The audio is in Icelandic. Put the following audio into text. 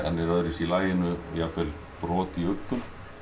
er öðruvísi í laginu jafnvel brot í uggum